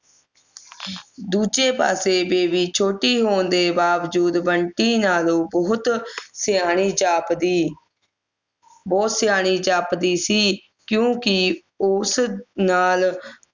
ਦੂਜੇ ਪਾਸੇ ਬੇਬੀ ਛੋਟੀ ਹੋਣ ਦੇ ਬਾਵਜੂਦ ਬੰਟੀ ਨਾਲੋਂ ਬਹੁਤ ਸਿਆਣੀ ਜਾਪਦੀ ਉਹੋ ਸਿਆਣੀ ਜਾਪਦੀ ਸੀ ਕਿਉਂਕਿ ਉਸ ਨਾਲ